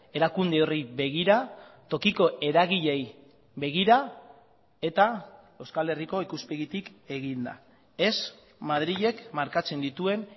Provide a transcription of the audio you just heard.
erakunde horri begira tokiko eragileei begira eta euskal herriko ikuspegitik eginda ez madrilek markatzen dituen